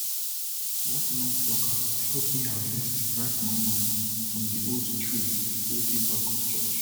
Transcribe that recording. that long plucker help me harvest ripe mango from the old tree wey dey back of church